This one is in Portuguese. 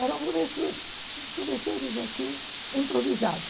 eram professores, eram professores, assim improvisados.